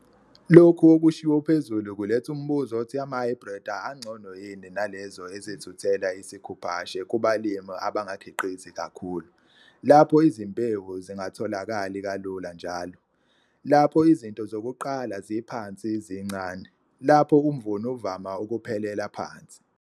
Lokho okushiwo phezulu kuletha umbuzo othi amahhayibhredi angcono yini nalezo ezithuthela isikhuphashe kubalimi abangakhiqizi kakhulu - lapho izimbewu zingatholakali kalula njalo, lapho izinto zokuqala ziphansi zincane, lapho umvuno uvama ukuphelela phansi.